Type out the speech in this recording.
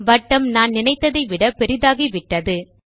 வட்டம் நான் நினைத்ததை விட பெரியதாகிவிட்டது